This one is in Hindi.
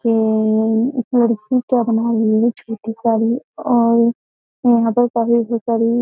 ए एक लड़की का क्या बना रही है? छोटी साड़ी और यहाँ पर काफी बोहोत सारी --